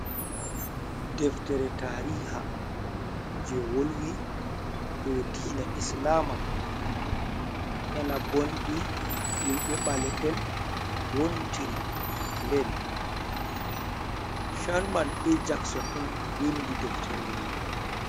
Deftere tariiha jey wolwi dow diina islaama, ena boonɗi himɓe ɓalee`en wontiri, nde Charman jackson on winndi deftere nde.